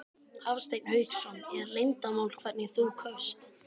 Hafsteinn Hauksson: Er leyndarmál hvernig þú kaust?